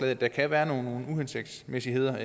at der kan være nogle uhensigtsmæssigheder